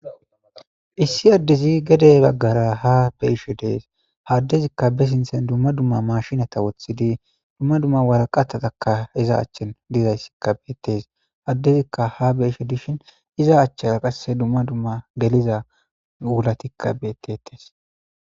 issi addezi gede baggara ha be ishe dees haddezikka be sinthen dumma dumma mashinata wothidi dumma dumma waraqatataka iza achchen gizayssikka beettes addezikka ha be ishe dishin iza achchaa qasse dumma dumma geliza wulatikka beettetes